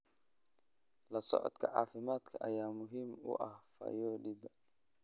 La socodka caafimaadka ayaa muhiim u ah fayoobida.